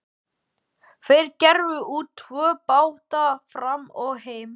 Þeir gerðu út tvo báta, Fram og Heim.